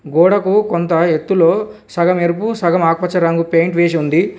గోడకు కొంత ఎత్తులో సగం ఎరుపు సగం ఆకుపచ్చ రంగు పెయింట్ వేసి ఉంది.